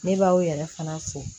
Ne b'aw yɛrɛ fana fo